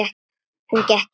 Hún gekk inn.